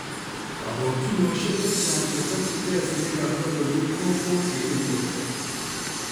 Kobokyinosiek chechang che tokyinge siriikab logoiywek kogokeripoten